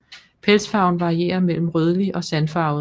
Pelsfarven varierer mellem rødlig og sandfarvet